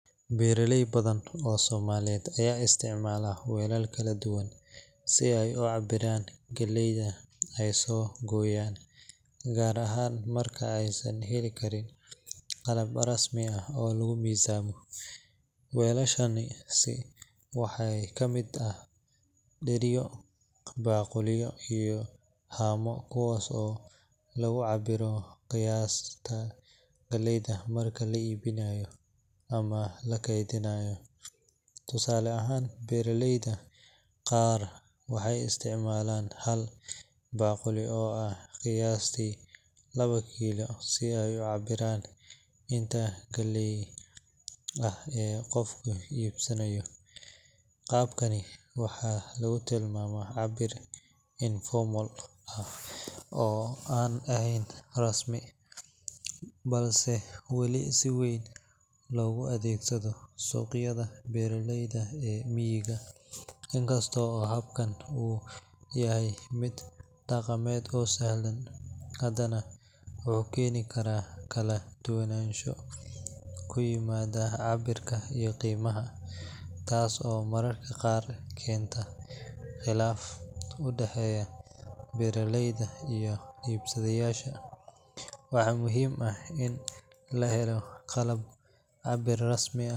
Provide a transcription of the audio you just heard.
Beeraley badan oo Soomaaliyeed ayaa isticmaala weelal kala duwan si ay u cabbiraan galleyda ay soo gooyaan, gaar ahaan marka aysan heli karin qalab rasmi ah oo lagu miisaamo. Weelashaasi waxaa ka mid ah dheriyo, baaquliyo iyo haamo, kuwaas oo lagu cabbiro qiyaasta galleyda marka la iibinayo ama la keydinayo. Tusaale ahaan, beeraleyda qaar waxay isticmaalaan hal baaquli oo ah qiyaastii laba kiilo si ay u cabbiraan inta galley ah ee qofku iibsanayo. Qaabkan waxaa lagu tilmaamaa cabbir informal ah oo aan rasmi ahayn, balse weli si weyn loogu adeegsado suuqyada beeraleyda ee miyiga. In kasta oo habkan uu yahay mid dhaqameed oo sahlan, haddana wuxuu keeni karaa kala duwanaansho ku yimaada cabbirka iyo qiimaha, taas oo mararka qaar keenta khilaaf u dhexeeya beeraleyda iyo iibsadayaasha. Waxaa muhiim ah in la helo qalab cabbir rasmi ah.